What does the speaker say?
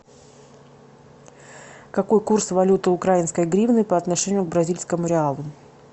какой курс валюты украинской гривны по отношению к бразильскому реалу